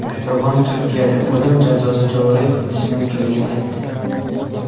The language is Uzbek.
Erdo‘g‘on Turkiyada o‘lim jazosi joriy qilinishi mumkinligini aytdi.